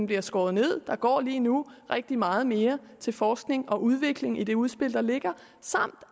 bliver skåret ned der går lige nu rigtig meget mere til forskning og udvikling i det udspil der ligger